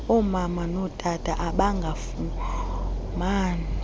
omama notata abangafumani